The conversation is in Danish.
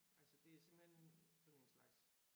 Altså det simpelthen sådan en slags